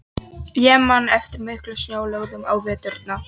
Ég man eftir miklum snjóalögum á veturna.